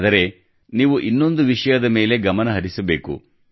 ಆದರೆ ನೀವು ಇನ್ನೊಂದು ವಿಷಯದ ಮೇಲೆ ಗಮನಹರಿಸಬೇಕು